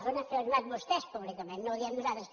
ho han afirmat vostès públicament no ho diem nosaltres